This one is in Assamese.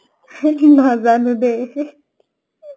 নাজানো দে